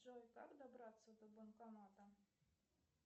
джой как добраться до банкомата